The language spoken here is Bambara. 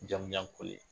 Jamujan kolen